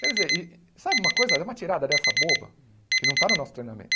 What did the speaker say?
Quer dizer, e sabe uma coisa, é uma tirada dessa boba que não está no nosso treinamento.